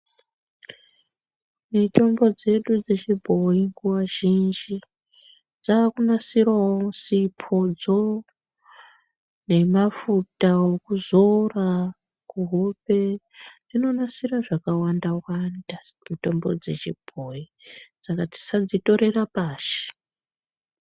Mitombo dzedu dzechibhoyi nguwa zhinji dzakunasirawo sipodzo nemafuta ekuzora kuhope dzinonasira zvakawanda wanda mitombo dzechibhoyi saka tisadzitorera pashi.